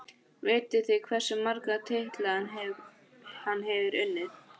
Vitið þið hversu marga titla hann hefur unnið?